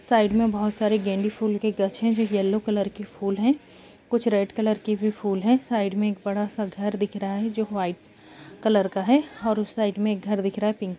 side में बहुत सारे गेंदे फूल के गछ है जो येलो कलर के फूल है कुछ रेड कलर के भी फूल है साइड में एक बड़ा सा घर दिख रहा है जो व्हाइट कलर का है और उस साइड में घर दिख रहा है पिंक --